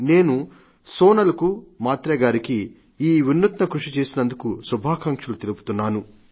నేను సోనల్ కు మాత్రే గారికి ఈ వినూత్న కృషి చేసినందుకు శుభాకాంక్షలు తెలుపుతున్నాను